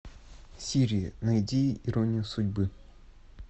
сири найди иронию судьбы